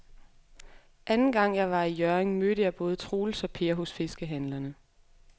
Anden gang jeg var i Hjørring, mødte jeg både Troels og Per hos fiskehandlerne.